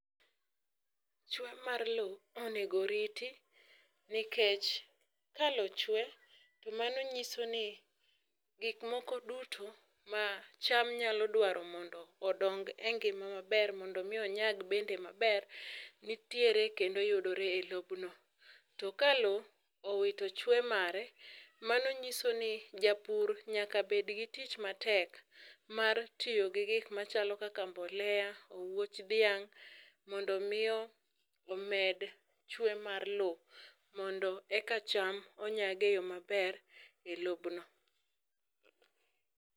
Chwe mar lowo onego riti nikech kalowo chwe tomano nyiso ni gik moko duto ma cham nyal dwaro odong engima maber mondo mi onyag maber, nitiere kendo yudore elobno. To ka loo owito chwe mare mano nyiso ni japur nyaka bed gi tich matek mar tiyo gi gik machalo kaka mbolea ,owuoch dhiang', mondo miyo omed chwe mar lowo mondo eka cham onyagi eyoo maber elobno.